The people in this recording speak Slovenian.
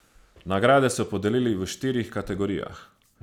Nagrade so podelili v štirih kategorijah.